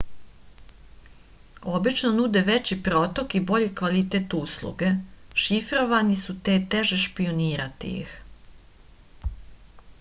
obično nude veći protok i bolji kvalitet usluge šifrovani su te je teže špijunirati ih